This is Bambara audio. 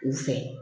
U fɛ